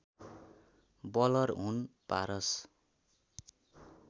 bowler हुन् पारस